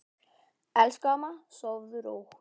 Elsku amma, sofðu rótt.